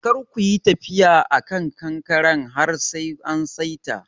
Kar kuyi tafiya a kan kankaren har sai an saita.